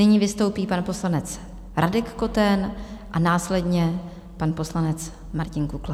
Nyní vystoupí pan poslanec Radek Koten a následně pan poslanec Martin Kukla.